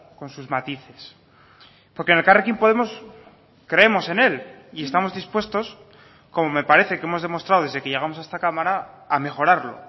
con sus matices porque en elkarrekin podemos creemos en él y estamos dispuestos como me parece que hemos demostrado desde que llegamos a esta cámara a mejorarlo